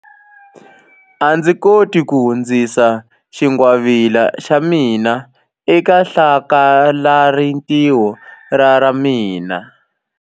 A ndzi koti ku hundzisa xingwavila xa mina eka hlakalarintiho ra ra mina.